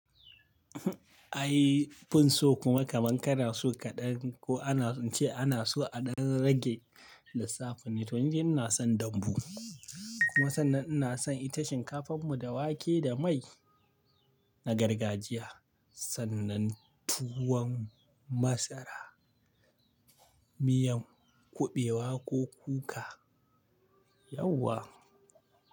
Ai banso kuma kamar kana so kaɗan ko ana, ace ana so a ɗan rage lissafin ne. To wajen ina son dambu kuma sannan ina son ita shinkafan mu da wake da mai na gargajiya sannan tuwon masara, miyan kuɓewa ko kuka. Yauwa.